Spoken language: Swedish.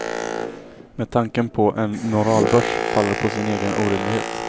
Men tanken på en moralbörs faller på sin egen orimlighet.